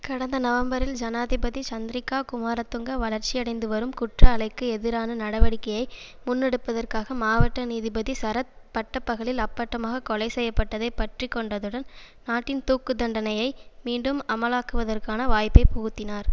கடந்த நவம்பரில் ஜனாதிபதி சந்திரிகா குமாரதுங்க வளர்சியடைந்துவரும் குற்ற அலைக்கு எதிரான நடவடிக்கையை முன்னெடுப்பதற்காக மாவட்ட நீதிபதி சரத் பட்டப்பகலில் அப்பட்டமாக கொலை செய்யபட்டதை பற்றிக்கொண்டதுடன் நாட்டின் தூக்கு தண்டனையை மீண்டும் அமலாக்குவதற்கான வாய்ப்பை புகுத்தினார்